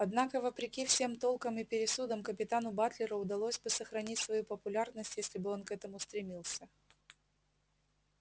однако вопреки всем толкам и пересудам капитану батлеру удалось бы сохранить свою популярность если бы он к этому стремился